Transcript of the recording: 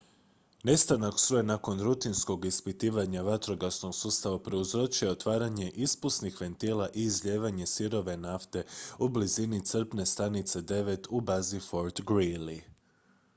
nestanak struje nakon rutinskog ispitivanja vatrogasnog sustava prouzročio je otvaranje ispusnih ventila i izlijevanje sirove nafte u blizini crpne stanice 9 u bazi fort greely